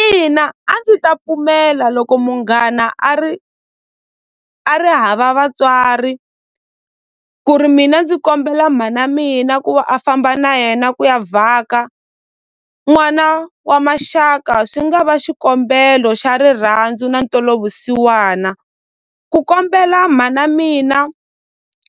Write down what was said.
Ina a ndzi ta pfumela loko munghana a ri a ri hava vatswari ku ri mina ndzi kombela mhana mina ku va a famba na yena ku ya vhaka n'wana wa maxaka swi nga va xikombelo xa rirhandzu na ntwelavusiwana ku kombela mhana mina